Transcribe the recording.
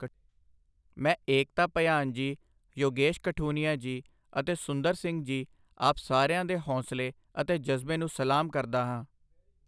ਮੈਂ ਏਕਤਾ ਭਯਾਨ ਜੀ, ਯੋਗੇਸ਼ ਕਠੁਨਿਯਾ ਜੀ ਅਤੇ ਸੁੰਦਰ ਸਿੰਘ ਜੀ ਆਪ ਸਾਰਿਆਂ ਦੇ ਹੌਸਲੇ ਅਤੇ ਜਜ਼ਬੇ ਨੂੰ ਸਲਾਮ ਕਰਦਾ ਹਾਂ।